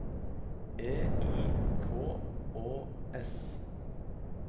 E I K Å S